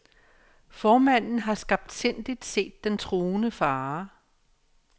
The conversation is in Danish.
Formanden har skarptsindigt set den truende fare.